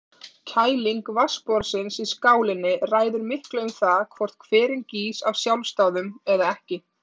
Kæling vatnsborðsins í skálinni ræður miklu um það hvort hverinn gýs af sjálfsdáðum eða ekki.